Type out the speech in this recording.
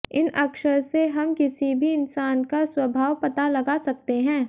इन अक्षर से हम किसी भी इंसान का स्वभाव पता लगा सकते है